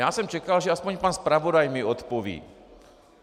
Já jsem čekal, že aspoň pan zpravodaj mi odpoví.